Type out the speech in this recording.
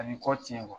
A bɛ kɔti